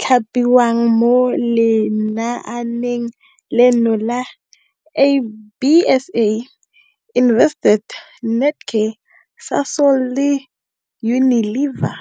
thapiwang mo lenaaneng leno ke ABSA, Investec, Netcare, Sasol le Unilever.